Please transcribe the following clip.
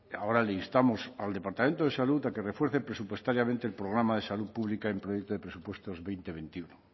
ahora le instamos al departamento de salud a que refuerce presupuestariamente el programa de salud pública en proyecto de presupuestos veinte veintiuno